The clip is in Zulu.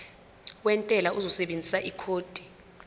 wentela uzosebenzisa ikhodi